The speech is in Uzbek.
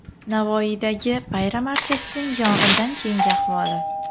Navoiydagi bayram archasining yong‘indan keyingi ahvoli.